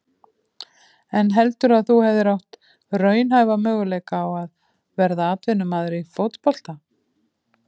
En heldurðu að þú hefðir átt raunhæfa möguleika á að verða atvinnumaður í fótbolta?